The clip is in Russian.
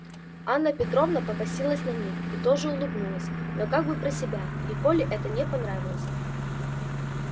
анна петровна покосилась на них и тоже улыбнулась но как бы про себя и коле это не понравилось